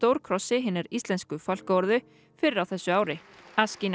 stórkrossi hinnar íslensku fálkaorðu fyrr á þessu ári